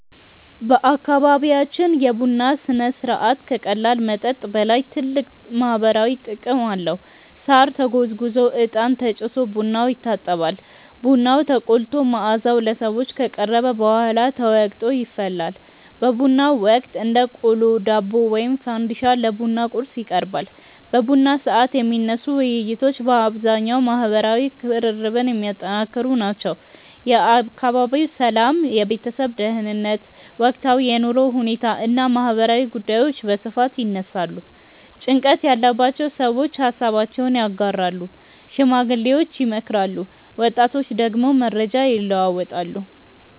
በአካባቢያችን የቡና ሥነ ሥርዓት ከቀላል መጠጥ በላይ ጥልቅ ማህበራዊ ትርጉም አለው። ሳር ተጎዝጉዞ፣ እጣን ተጭሶ ቡናው ይታጠባል። ቡናው ተቆልቶ መዓዛው ለሰዎች ከቀረበ በኋላ ተወቅጦ ይፈላል። በቡናው ወቅት እንደ ቆሎ፣ ዳቦ ወይም ፈንዲሻ ለቡና ቁርስ ይቀርባል። በቡና ሰዓት የሚነሱ ውይይቶች በአብዛኛው ማህበራዊ ቅርርብን የሚያጠነክሩ ናቸው። የአካባቢው ሰላም፣ የቤተሰብ ደህንነት፣ ወቅታዊ የኑሮ ሁኔታ እና ማህበራዊ ጉዳዮች በስፋት ይነሳሉ። ጭንቀት ያለባቸው ሰዎች ሃሳባቸውን ያጋራሉ፣ ሽማግሌዎች ይመክራሉ፣ ወጣቶች ደግሞ መረጃ ይለዋወጣሉ።